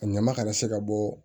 A ɲama kana se ka bɔ